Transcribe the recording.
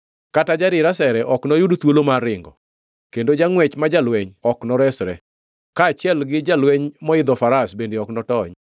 Kata jadir asere ok noyud thuolo mar ringo, kendo jangʼwech ma jalweny ok noresre, kaachiel gi jalweny moidho faras bende ok notony.